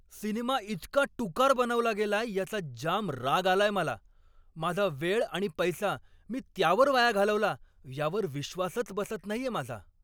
Cinema इतका टुकार बनवला गेलाय याचा जाम राग आलाय मला. माझा वेळ आणि पैसा मी त्यावर वाया घालवला यावर विश्वासच बसत नाहीये माझा.